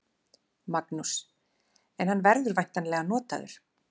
Magnús: En hann verður væntanlega notaður?